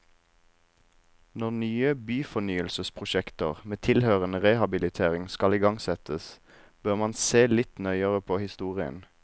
Når nye byfornyelsesprosjekter med tilhørende rehabilitering skal igangsettes, bør man se litt nøyere på historien.